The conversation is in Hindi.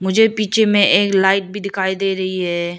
मुझे पीछे में एक लाइट भी दिखाई दे रही है।